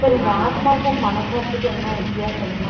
சரி இந்த ஆத்மாக்கும் மனசாட்சிக்கும் என்ன வித்தியாசம்ன்னா